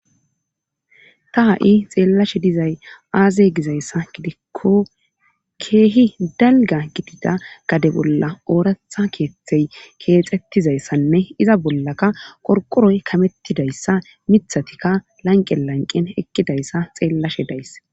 ta ha7i xeellashe dizay aaze gizayssa gidikko keehi dalga gidida gade bolla ooratha keeththey keexettizayssanne iza bollaka qorqoroy kamettidayssa mithatikka lanqe lanqen ekkidayssa xeellashe days.